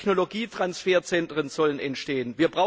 Technologietransferzentren sollen entstehen.